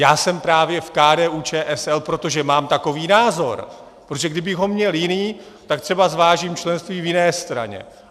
Já jsem právě v KDU-ČSL, protože mám takový názor, protože kdybych ho měl jiný, tak třeba zvážím členství v jiné straně.